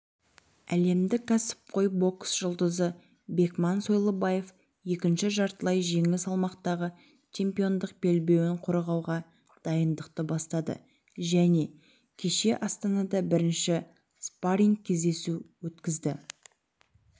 әлемдік кәсіпқой бокс жұлдызы бекман сойлыбаев екінші жартылай жеңіл салмақтағы чемпиондық белбеуін қорғауға дайындықты бастады және кеше астанада бірінші спарринг-кездесу өткізді